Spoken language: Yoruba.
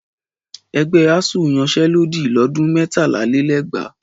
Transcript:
Ẹgbẹ́ ASUU yanṣẹ́lódì lọ́dún mẹ́tàlálélẹ́gbàá